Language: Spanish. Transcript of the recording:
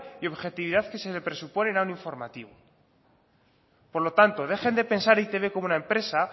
y objetividad que se le presuponen a un informativo por lo tanto dejen de pensar en e i te be como una empresa